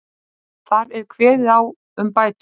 Þar er kveðið á um bætur